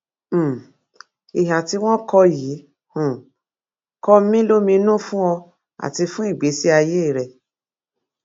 um ìhà tí wọn kọ yìí um kọ mí lóminú fún ọ àti fún ìgbésí ayé rẹ